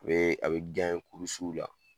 U bɛ a bɛ kurusiw la